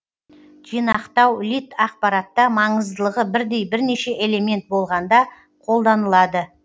жинақтау лид ақпаратта маңыздылығы бірдей бірнеше элемент болғанда қолданылады